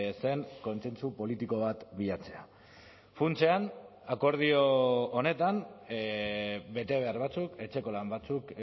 zen kontsentsu politiko bat bilatzea funtsean akordio honetan betebehar batzuk etxeko lan batzuk